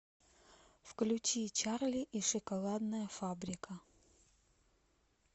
включи чарли и шоколадная фабрика